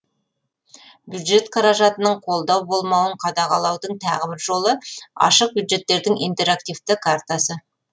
бюджет қаражатының қолдау болмауын қадағалаудың тағы бір жолы ашық бюджеттердің интерактивті картасы